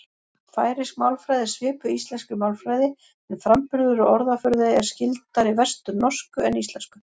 Færeysk málfræði er svipuð íslenskri málfræði en framburður og orðaforði er skyldari vesturnorsku en íslensku.